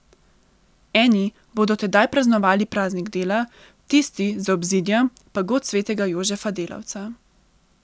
Eni bodo tedaj praznovali praznik dela, tisti za obzidjem pa god svetega Jožefa delavca.